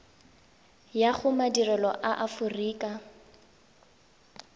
ya go madirelo a aforika